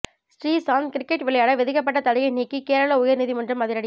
Sreesanth cricket விளையாட விதிக்கப்பட்ட தடையை நீக்கி கேரள உயர் நீதிமன்றம் அதிரடி